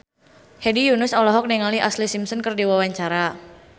Hedi Yunus olohok ningali Ashlee Simpson keur diwawancara